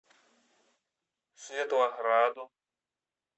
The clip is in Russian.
светлограду